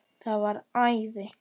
Það var æði.